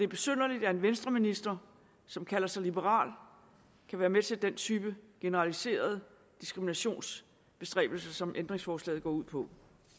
besynderligt at en venstreminister som kalder sig liberal kan være med til den type generaliserede diskriminationsbestræbelser som ændringsforslaget går ud på